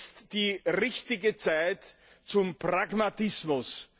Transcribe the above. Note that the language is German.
Daher ist jetzt die richtige Zeit für Pragmatismus.